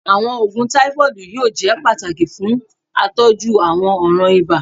Awọn oogun tafoidi yoo jẹ pataki fun atọju awọn ọran iba